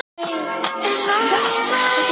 Ég týndi honum svaraði Bogga og fór að snökta.